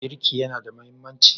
Birki yana da mahimmanci?